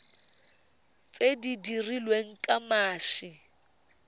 tse di dirilweng ka mashi